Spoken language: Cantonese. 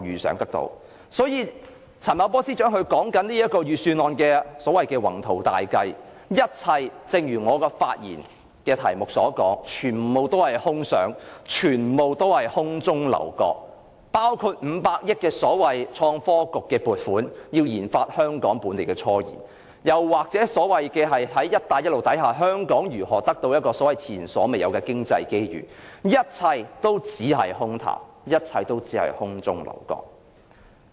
所以，陳茂波司長的預算案內的所謂宏圖大計，正如我的發言題目所言，全是空想，全是空中樓閣，包括500億元的所謂創科局撥款，以研發香港本地的科研，又或在"一帶一路"下香港如何獲得前所未有的經濟機遇，一切也是空談，一切也只是空中樓閣。